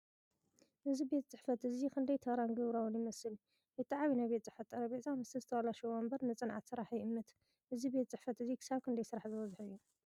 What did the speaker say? እዚ ቤት ጽሕፈት እዚ ክንደይ ተራን ግብራውን ይመስል! እቲ ዓቢ ናይ ቤት ጽሕፈት ጠረጴዛ፡ ምስቲ ዝተበላሸወ መንበር፡ ንጽንዓት ስራሕ ይእምት። እዚ ቤት ጽሕፈት እዚ ክሳብ ክንደይ ስራሕ ዝበዝሖ እዩ?